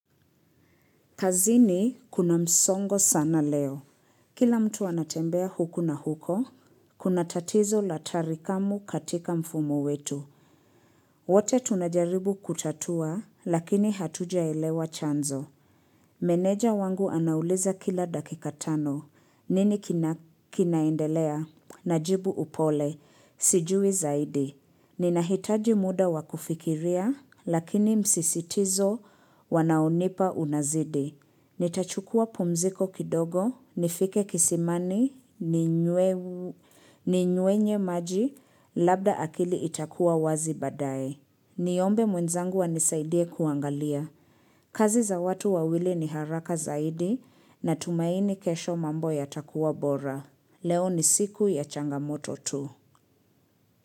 Kazini, kuna msongo sana leo. Kila mtu anatembea huku na huko, kuna tatizo la tarikamu katika mfumo wetu. Wote tunajaribu kutatua, lakini hatuja elewa chanzo. Meneja wangu anauliza kila dakika tano. Nini kinaendelea? Najibu upole. Sijui zaidi. Ninahitaji muda wa kufikiria, lakini msisitizo wanaonipa unazidi. Nitachukua pumziko kidogo, nifike kisimani, ninywenye maji, labda akili itakuwa wazi badaye. Niombe mwenzangu anisaidie kuangalia. Kazi za watu wawili ni haraka zaidi natumaini kesho mambo yatakuwa bora. Leo ni siku ya changamoto tu.